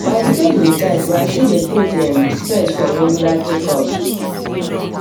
my schedule tight but i still dey create um space for regular checkups um